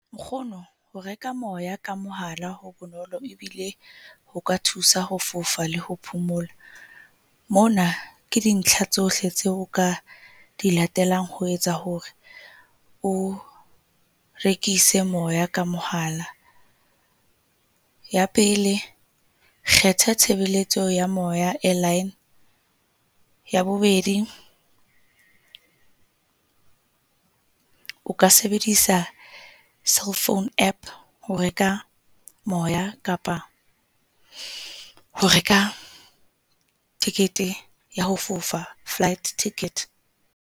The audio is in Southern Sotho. Nkgono ho reka moya ka mohala ho bonolo ebile ho ka thusa ho fofa le ho phomola. Mona ke dintlha tsohle tseo o ka di latelang ho etsa hore o rekise moya ka mohala. Ya pele, kgetha tshebeletso ya moya airline, ya bobedi o ka sebedisa cell phone App ho reka moya kapa ho reka tekete ya ho fofa flight ticket.